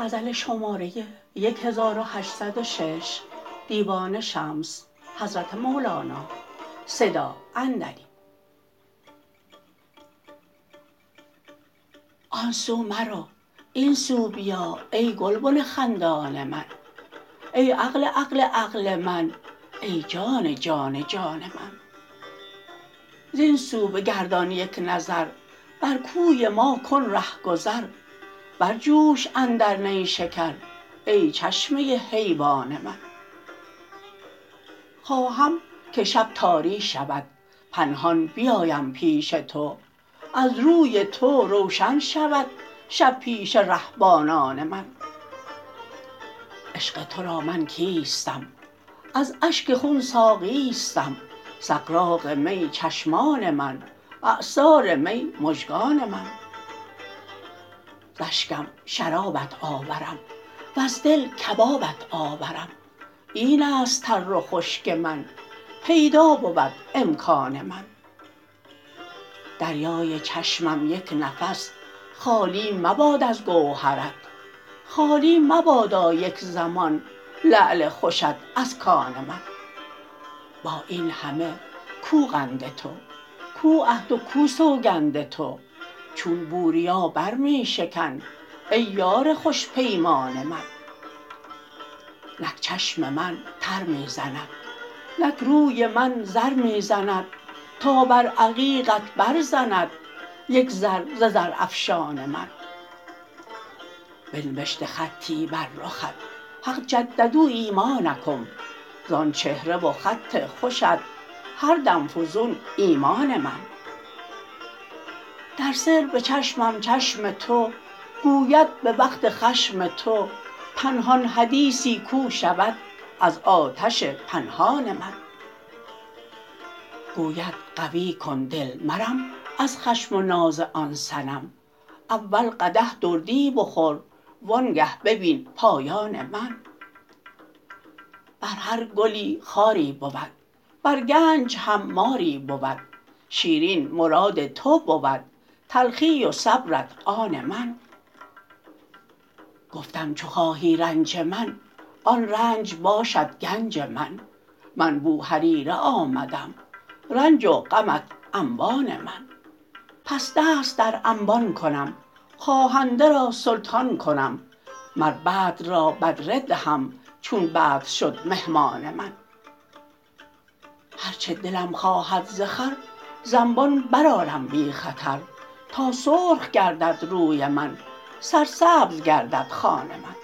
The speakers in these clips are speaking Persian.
آن سو مرو این سو بیا ای گلبن خندان من ای عقل عقل عقل من ای جان جان جان من زین سو بگردان یک نظر بر کوی ما کن رهگذر برجوش اندر نیشکر ای چشمه حیوان من خواهم که شب تاری شود پنهان بیایم پیش تو از روی تو روشن شود شب پیش رهبانان من عشق تو را من کیستم از اشک خون ساقیستم سغراق می چشمان من عصار می مژگان من ز اشکم شرابت آورم وز دل کبابت آورم این است تر و خشک من پیدا بود امکان من دریای چشمم یک نفس خالی مباد از گوهرت خالی مبادا یک زمان لعل خوشت از کان من با این همه کو قند تو کو عهد و کو سوگند تو چون بوریا بر می شکن ای یار خوش پیمان من نک چشم من تر می زند نک روی من زر می زند تا بر عقیقت برزند یک زر ز زرافشان من بنوشته خطی بر رخت حق جددوا ایمانکم زان چهره و خط خوشت هر دم فزون ایمان من در سر به چشمم چشم تو گوید به وقت خشم تو پنهان حدیثی کو شود از آتش پنهان من گوید قوی کن دل مرم از خشم و ناز آن صنم اول قدح دردی بخور وانگه ببین پایان من بر هر گلی خاری بود بر گنج هم ماری بود شیرین مراد تو بود تلخی و صبرت آن من گفتم چو خواهی رنج من آن رنج باشد گنج من من بوهریره آمدم رنج و غمت انبان من پس دست در انبان کنم خواهنده را سلطان کنم مر بدر را بدره دهم چون بدر شد مهمان من هر چه دلم خواهد ز خور ز انبان برآرم بی خطر تا سرخ گردد روی من سرسبز گردد خوان من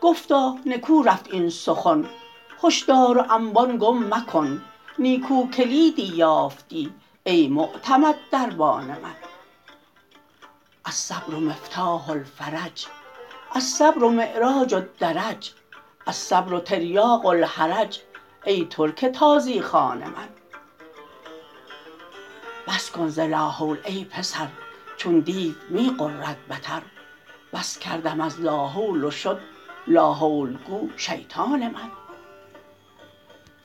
گفتا نکو رفت این سخن هشدار و انبان گم مکن نیکو کلیدی یافتی ای معتمد دربان من الصبر مفتاح الفرج الصبر معراج الدرج الصیر تریاق الحرج ای ترک تازی خوان من بس کن ز لاحول ای پسر چون دیو می غرد بتر بس کردم از لاحول و شد لاحول گو شیطان من